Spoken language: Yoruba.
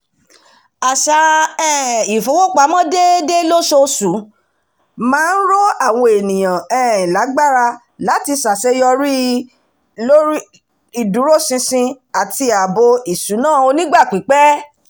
àṣà um ìfowópamọ́ déédé lóṣooṣù máa ń ró àwọn ènìyàn um lágbára láti ṣàṣeyọrí ìdúró-ṣinṣin àti ààbò ìṣúná onígbà pípẹ́